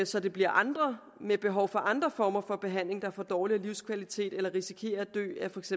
så det bliver andre med behov for andre former for behandling der får dårligere livskvalitet eller risikerer at dø af for